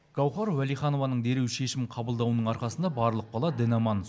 гаухар уәлиханованың дереу шешім қабылдауының арқасында барлық бала дін аман